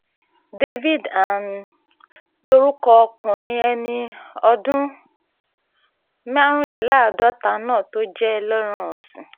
david andhl lorúkọ ọkùnrin ẹni ọdún márùnléláàádọ́ta náà tó jẹ́ ẹlẹ́ran ọ̀sìn